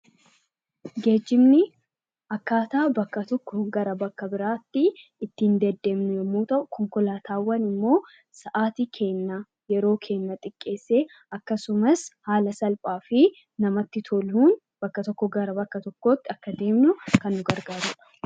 Geejjibni akkaataa bakka tokkoo gara bakka biraatti ittiin deddeemnu yommuu ta'u; Konkolaataawwan immoo sa'atii keenya, yeroo keenya xiqqeessee akkasumas haala salphaa fi namatti toluun bakka tokko gara bakka tokkootti akka deemnu kan nu gargaaru dha.